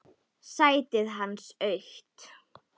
Sætið hans autt.